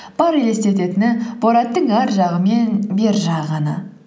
бар елестететіні бораттың арғы жағы мен бер жағы ғана